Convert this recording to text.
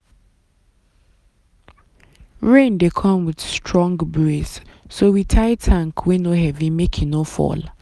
rain dey come with strong breeze so we tie tank wey no heavy make e no fall.